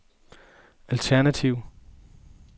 alternative